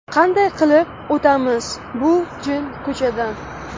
Qanday qilib o‘tamiz bu jin ko‘prikdan?